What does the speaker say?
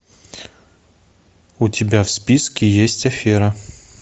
у тебя в списке есть афера